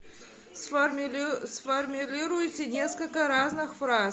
сформулируйте несколько разных фраз